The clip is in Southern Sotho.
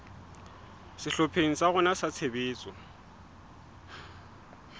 sehlopheng sa rona sa tshebetso